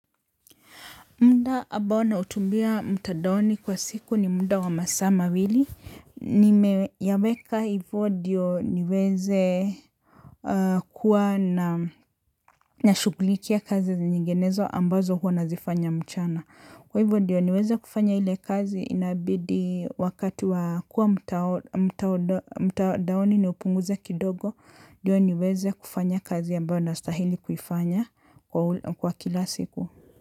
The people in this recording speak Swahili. Muda ambao nautumia mtadaoni kwa siku ni muda wa masaa mawili nimeyaweka hivyo ndiyo niweze. Huwa na nashugulikia kazi nyingenezo ambazo huwa nazifanya mchana kwa hivyo ndiyo niweze kufanya ile kazi inabidi wakati wa kuwa mtadaoni niupunguze kidogo. Ndiyo niweze kufanya kazi ambayo nastahili kuifanya kwa kila siku.